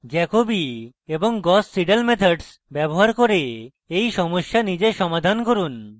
jacobi এবং gauss seidel methods ব্যবহার করে এই সমস্যা নিজে সমাধান করুন